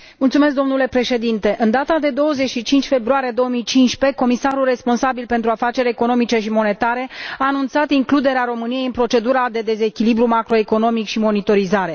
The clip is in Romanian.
Domnule președinte, în data de 25 februarie 2015, comisarul responsabil pentru afaceri economice și monetare a anunțat includerea României în procedura de dezechilibru macroeconomic și monitorizare.